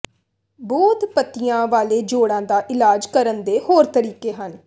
ਬੋਧ ਪੱਤੀਆਂ ਵਾਲੇ ਜੋੜਾਂ ਦਾ ਇਲਾਜ ਕਰਨ ਦੇ ਹੋਰ ਤਰੀਕੇ ਹਨ